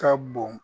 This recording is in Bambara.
Ka bon